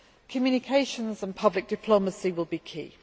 Communications and public diplomacy will be key.